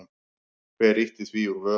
Hver ýtti því úr vör?